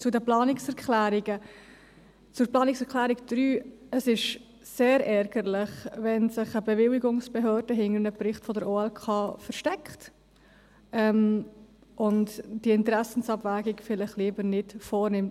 Zu den Planungserklärungen, zur Planungserklärung 3: Es ist sehr ärgerlich, wenn sich eine Bewilligungsbehörde hinter einem Bericht der OLK versteckt und die Interessenabwägung vielleicht lieber nicht vornimmt.